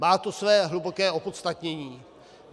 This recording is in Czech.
Má to své hluboké opodstatnění.